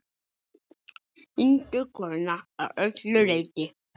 Einstök kona að öllu leyti.